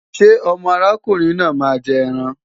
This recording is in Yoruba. Ṣé ọmọ ọkùnrin náà máa jẹ ẹran?